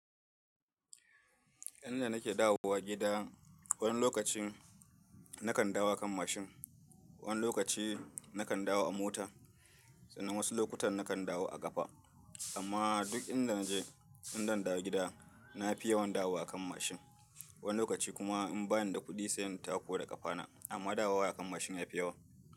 Inda nake dawowa gida, wani lokaci na kan dawo a kan mashin, wani lokaci na kan dawo a mota, sannan wasu lokutan na kan dawo a kafa. Amma duk inda na je, in zan dawo gida, na fi yawan dawo a kan mashin. Wani lokaci kuma in bani da kuɗi sayan tako da kafana, amma dawowa a kan mashin ya fi yawa.